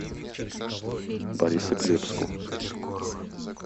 борисоглебску